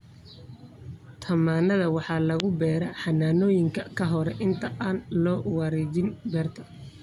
Tamaandhada waxaa lagu beeraa xanaanooyinka ka hor inta aan loo wareejin beerta.